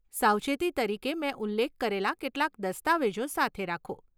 સાવચેતી તરીકે, મેં ઉલ્લેખ કરેલા કેટલાક દસ્તાવેજો સાથે રાખો.